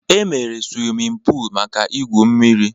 E meere siwimin pul maka ị gwụ mmiri